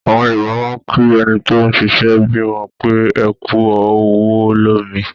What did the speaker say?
Àwọn Yorùbá máa ń kí ẹni tó ṣẹ̀ṣẹ̀ bímọ pé "ẹkú ọwọ́ lómi"